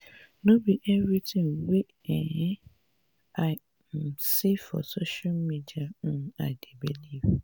no be everytin wey um i um see for social media um i dey believe.